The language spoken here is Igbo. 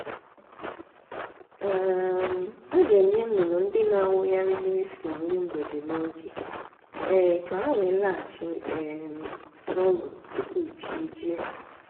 um a ga-enye nnụnụ ndị na-awụgharị n’efu nri mgbede n’oge um ka ha wee laghachi um n’ụlọ tupu chi ejie.